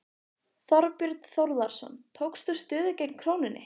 Þorbjörn Þórðarson: Tókst þú stöðu gegn krónunni?